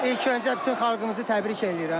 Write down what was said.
İlk öncə bütün xalqımızı təbrik eləyirəm.